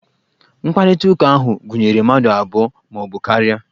Mkparịtaụka ahụ gụnyere mmadụ abụọ ma ọ bụ karia.